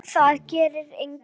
Það getur enginn.